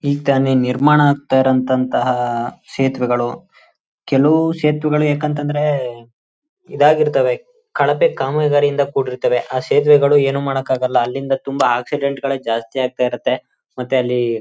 ಈಗ್ತಾನೇ ನಿರ್ಮಾಣ ಆಗ್ತಾ ಇರೋಂತ ಅಂತ ಸೇತುವೆಗಳು ಕೆಲುವು ಸೇತುವೆಗಳು ಯಾಕಂತಂದ್ರೆ ಇದಾಗಿರ್ತವೆ ಕಳಪೆ ಕಾಮಗಾರಿ ಇಂದ ಕೂಡಿರ್ತವೆ ಆ ಸೇತುವೆಗಳು ಏನು ಮಾಡಕಾಗಲ್ಲ ಅಲ್ಲಿಂದ ತುಂಬಾ ಆಕ್ಸಿಡೆಂಟ್ ಗಳೇ ಜಾಸ್ತಿ ಆಗ್ತಾ ಇರುತ್ತೆ ಮತ್ತೆ ಅಲ್ಲಿ--